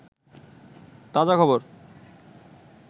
তাজা খবর